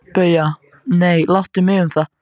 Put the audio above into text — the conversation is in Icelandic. BAUJA: Nei, láttu mig um það.